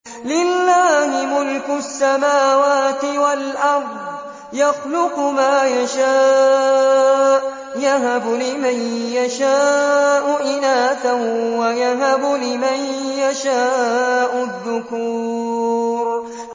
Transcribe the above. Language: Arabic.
لِّلَّهِ مُلْكُ السَّمَاوَاتِ وَالْأَرْضِ ۚ يَخْلُقُ مَا يَشَاءُ ۚ يَهَبُ لِمَن يَشَاءُ إِنَاثًا وَيَهَبُ لِمَن يَشَاءُ الذُّكُورَ